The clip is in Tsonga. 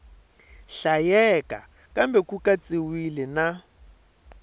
hlayeka kambe ku katsiwile na